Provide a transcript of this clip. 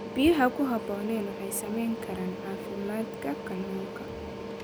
Biyaha ku habboonayn waxay saamayn karaan caafimaadka kalluunka